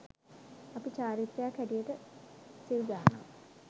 අපි චාරිත්‍රයක් හැටියට සිල් ගන්නවා.